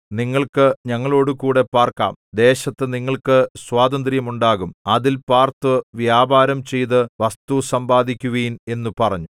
നിങ്ങൾക്ക് ഞങ്ങളോടുകൂടെ പാർക്കാം ദേശത്തു നിങ്ങൾക്ക് സ്വാതന്ത്ര്യമുണ്ടാകും അതിൽ പാർത്തു വ്യാപാരം ചെയ്തു വസ്തു സമ്പാദിക്കുവിൻ എന്നു പറഞ്ഞു